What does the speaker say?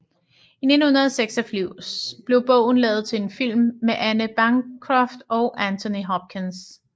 I 1986 blev bogen lavet til en film med Anne Bancroft og Anthony Hopkins